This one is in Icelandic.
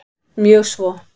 Mjög svo